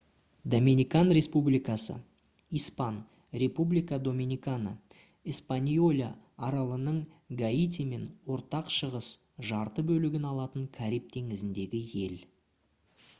доминикан республикасы испан. república dominicana - эспаньола аралының гаитимен ортақ шығыс жарты бөлігін алатын кариб теңізіндегі ел